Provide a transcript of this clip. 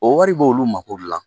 O wɔri b'olu mako dilan.